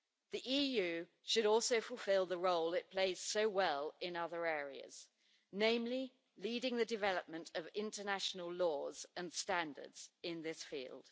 The EU should also fulfil the role it plays so well in other areas namely, leading the development of international laws and standards in this field.